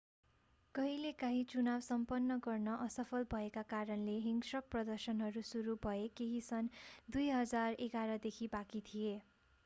कहिलेकाँही चुनाव सम्पन्न गर्न असफल भएका कारणले हिंस्रक प्रदर्शनहरू सुरु भए केही सन् 2011 देखि बाँकी थिए